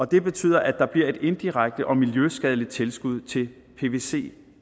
det betyder at der bliver et indirekte og miljøskadeligt tilskud til pvc